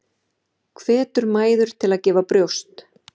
Hvetur mæður til að gefa brjóst